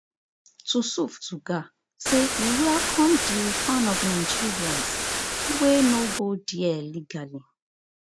tusuf tuggar say we welcome di return of nigerians wey no go dia legally